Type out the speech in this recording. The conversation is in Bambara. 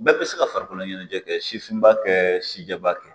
Bɛɛ bɛ se ka farikolo ɲɛnajɛ kɛ sifinba kɛ si jɛba kɛ